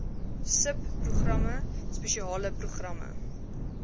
subprogramme spesiale programme